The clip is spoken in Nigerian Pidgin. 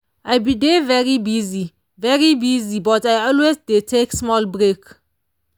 i bii dey very busy very busy but i always dey take small break.